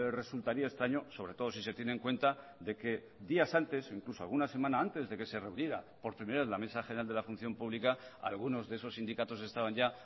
resultaría extraño sobre todo si se tiene en cuenta que días antes incluso alguna semana antes de se reuniera por primera vez la mesa general de la función pública algunos de esos sindicatos estaban ya